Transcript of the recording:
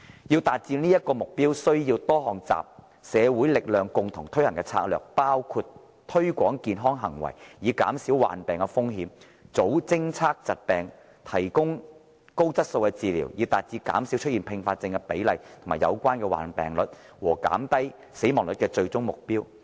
要達致這個目標，需要多項集社會力量共同推行的策略，包括推廣健康行為以減少患病的風險、早偵測疾病，以及提供高質素的治理，以達致減少出現併發症的比例和有關的患病率，以及減低死亡率的最終目標。